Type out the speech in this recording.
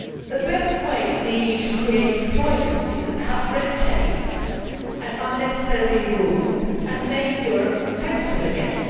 The best way for the EU to create employment is to cut red tape and unnecessary rules, and make Europe competitive again.